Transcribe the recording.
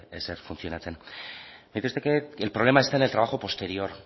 ezer funtzionatzen me dice usted que el problema está en el trabajo posterior